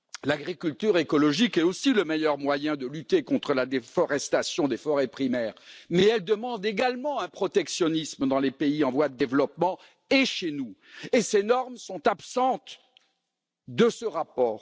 L'agriculture écologique est aussi le meilleur moyen de lutter contre la déforestation des forêts primaires, mais elle demande également un protectionnisme dans les pays en voie de développement et chez nous, et ces normes sont absentes de ce rapport.